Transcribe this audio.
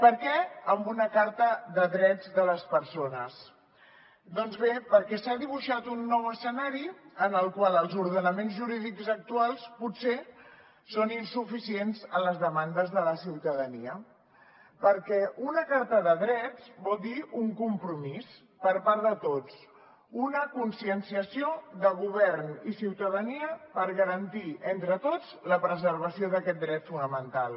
per què amb una carta de drets de les persones doncs bé perquè s’ha dibuixat un nou escenari en el qual els ordenaments jurídics actuals potser són insuficients a les demandes de la ciutadania perquè una carta de drets vol dir un compromís per part de tots una conscienciació de govern i ciutadania per garantir entre tots la preservació d’aquest dret fonamental